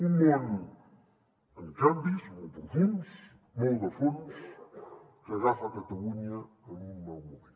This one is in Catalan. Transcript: un món amb canvis molt profunds molt de fons que agafa catalunya en un mal moment